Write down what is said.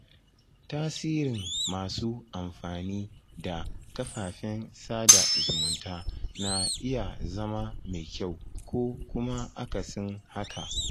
Tasirin masu amfani da kafafen sada zumunta na iya zama mai kyau ko kuma akasin haka.